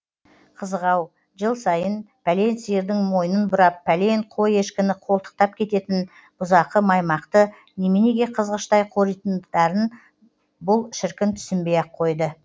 қызық ау жыл сайын пәлен сиырдың мойнын бұрап пәлен қой ешкіні қолтықтап кететін бұзақы маймақты неменеге қызғыштай қоритындарын бұл шіркін түсінбей ақ қойды